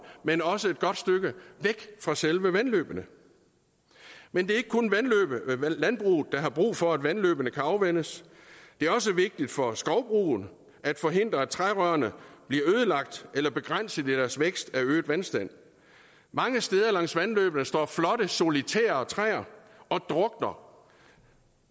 men også et godt stykke væk fra selve vandløbene men det er ikke kun landbruget der har brug for at vandløbene kan afvandes det er også vigtigt for skovbrugene at forhindre at trærødderne bliver ødelagt eller begrænset i deres vækst af øget vandstand mange steder langs vandløbene står flotte solitære træer og drukner